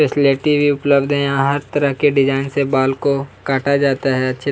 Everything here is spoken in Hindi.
फैसिलिटी भी उपलब्ध है यहाँ हर तरह के डिजाइन से बाल को काटा जाता है अच्छी --